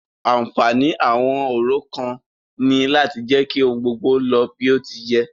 Ànfààní àwọn orò kan ní láti jẹ́ kí ohun gbogbo lọ bí o ti yẹ.